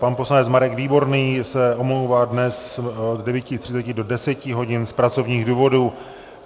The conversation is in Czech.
Pan poslanec Marek Výborný se omlouvá dnes od 9.30 do 10 hodin z pracovních důvodů.